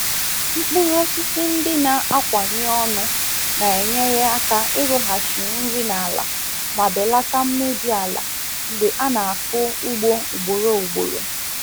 Mkpụrụ osisi ndị na-akawanye ọnụ na-enyere aka ịrụghachi nri n’ala ma belata mmebi ala mgbe a na-akụ ugbo ugboro ugboro.